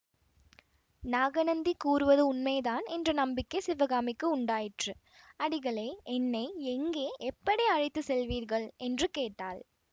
நாகநந்தி கூறுவது உண்மைதான் என்ற நம்பிக்கை சிவகாமிக்கு உண்டாயிற்று அடிகளே என்னை எங்கே எப்படி அழைத்து செல்வீர்கள் என்று கேட்டாள்